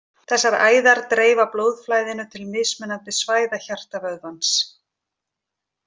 Þessar æðar dreifa blóðflæðinu til mismunandi svæða hjartavöðvans.